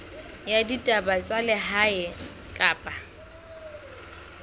ya ditaba tsa lehae kapa